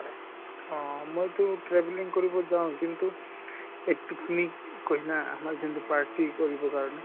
উম মই টো travelling কৰিব যাওঁ কিন্তু এই party কৰিব কাৰণে